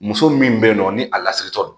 Muso min bɛ yen nɔ ni a lasiritɔ don